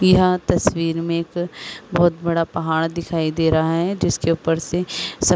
यहां तस्वीर में एक बहुत बड़ा पहाड़ दिखाई दे रहा है जिसके ऊपर से --